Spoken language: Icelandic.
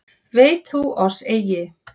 Veit þú að oss eigi